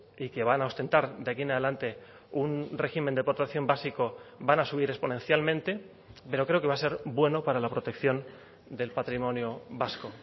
y que van a ostentar de aquí en adelante un régimen de protección básico van a subir exponencialmente pero creo que va a ser bueno para la protección del patrimonio vasco